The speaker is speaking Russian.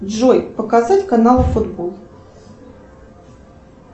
джой показать канал футбол